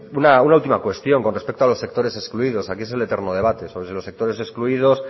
una última cuestión con respecto a los sectores excluidos aquí es el eterno debate sobre si los sectores excluidos